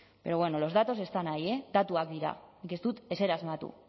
pero bueno los datos están ahí eh datuak dira nik ez dut ezer asmatu